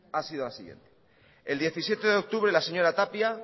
ha sido la siguiente el diecisiete de octubre la señora tapia